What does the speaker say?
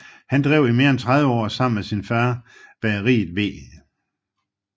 Han drev i mere end 30 år sammen med sin fader bageriet W